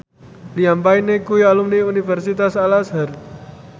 Liam Payne kuwi alumni Universitas Al Azhar